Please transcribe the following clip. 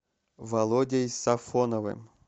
володей сафоновым